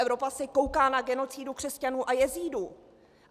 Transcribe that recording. Evropa se kouká na genocidu křesťanů a jezídů.